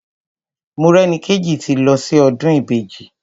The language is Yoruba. Morẹ́nikéjì ti lọ sí ọdún Ìbejì.